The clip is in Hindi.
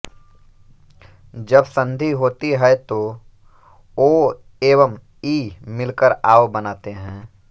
जब संधि होती है तो ओ एवं इ मिलकर आव बनाते हैं